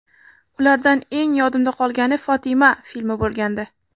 Ulardan eng yodimda qolgani ‘Fotima’ filmi bo‘lgandi.